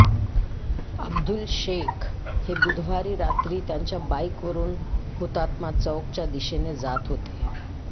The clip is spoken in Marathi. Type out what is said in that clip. अब्दुल शेख हे बुधवारी रात्री त्यांच्या बाईकवरून हुतात्मा चौकच्या दिशेने जात होते